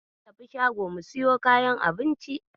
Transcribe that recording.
Mun tafi shago mu siyo kayan abinci.